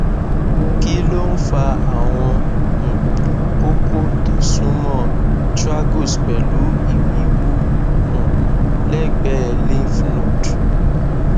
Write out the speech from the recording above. kí ló ń fa àwọn um koko tó súnmọ tragus pẹlú ìwiwu um lẹgbẹẹ lymph node